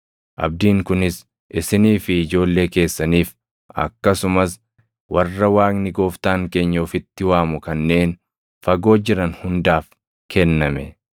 Abdiin kunis isinii fi ijoollee keessaniif, akkasumas warra Waaqni Gooftaan keenya ofitti waamu kanneen fagoo jiran hundaaf kenname.”